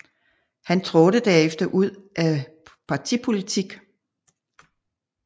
Han trådte derefter ud af partipolitik